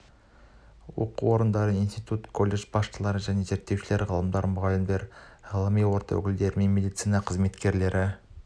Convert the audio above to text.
оқу орындары институт колледж басшылары және зерттеушілер ғалымдар мұғалімдер ғылыми орта өкілдері мен медицина қызметкерлері